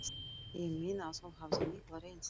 Ég meina að hún hafði mikla reynslu